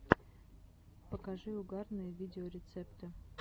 покажи угарные видеорецепты